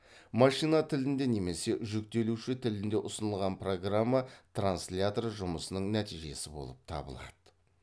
машина тілінде немесе жүктелуші тілде ұсынылған программа транслятор жұмысының нәтижесі болып табылады